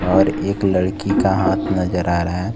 और एक लड़की का हाथ नजर आ रहा है।